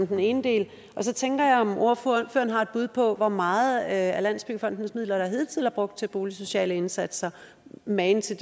den ene del og så tænker jeg om ordføreren har et bud på hvor meget af landsbyggefondens midler der hidtil er brugt til boligsociale indsatser magen til